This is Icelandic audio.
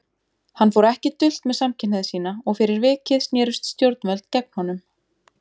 Hann fór ekki dult með samkynhneigð sína og fyrir vikið snerust stjórnvöld gegn honum.